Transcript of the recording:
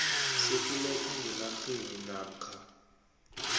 sokuletha ngenarheni namkha